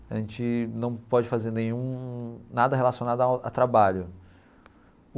a gente não pode fazer nenhum nada relacionado ao a trabalho.